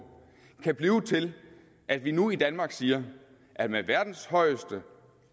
kan blive til at vi nu i danmark siger at med verdens højeste